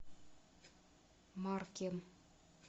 маркем